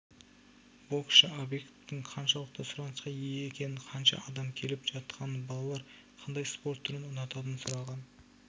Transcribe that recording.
боксшы объектің қаншалықты сұранысқа ие екенін қанша адам келіп жатқанын балалар қандай спорт түрін ұнататынын сұраған